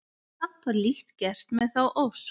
Samt var lítt gert með þá ósk.